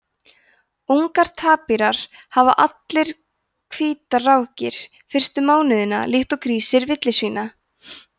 ungar tapírar hafa allir hvítar rákir fyrstu mánuðina líkt og grísir villisvína